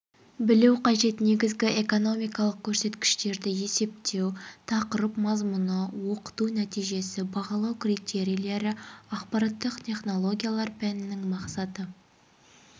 білу қажет негізгі экономикалық көрсеткіштерді есептеу тақырып мазмұны оқыту нәтижесі бағалау критерийлері ақпараттық технологиялар пәнінің мақсаты